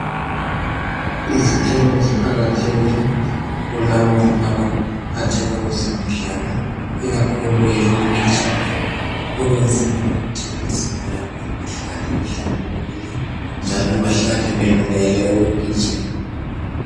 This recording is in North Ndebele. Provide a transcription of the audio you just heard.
Izithelo ziqakathekile kulabo abaphathela kwezemidlalo ikakhulu eyokugijima ukwenzela ukuthi imzimba yabo ihlale ihlambukukile njalo bahlale belungele ukugijima.